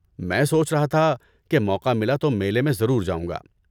میں سوچ رہا تھا کہ موقع ملا تو میلے میں ضرور جاؤں گا۔